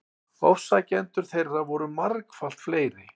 Ofsækjendur þeirra voru margfalt fleiri.